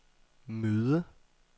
møde